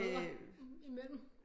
Brødre imellem